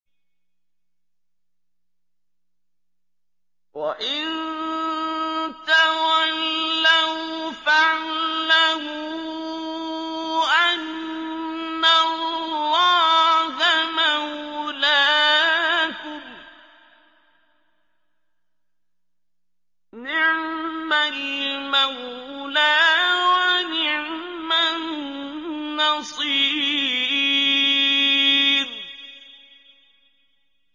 وَإِن تَوَلَّوْا فَاعْلَمُوا أَنَّ اللَّهَ مَوْلَاكُمْ ۚ نِعْمَ الْمَوْلَىٰ وَنِعْمَ النَّصِيرُ